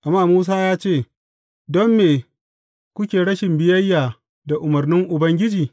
Amma Musa ya ce, Don me kuke rashin biyayya da umarnin Ubangiji?